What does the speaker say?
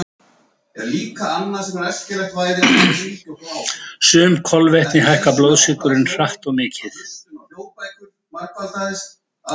Sum kolvetni hækka blóðsykurinn hratt og mikið.